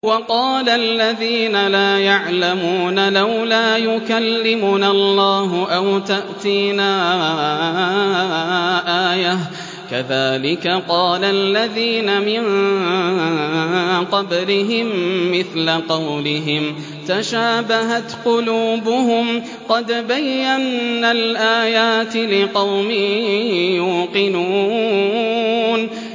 وَقَالَ الَّذِينَ لَا يَعْلَمُونَ لَوْلَا يُكَلِّمُنَا اللَّهُ أَوْ تَأْتِينَا آيَةٌ ۗ كَذَٰلِكَ قَالَ الَّذِينَ مِن قَبْلِهِم مِّثْلَ قَوْلِهِمْ ۘ تَشَابَهَتْ قُلُوبُهُمْ ۗ قَدْ بَيَّنَّا الْآيَاتِ لِقَوْمٍ يُوقِنُونَ